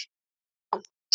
Er það vont?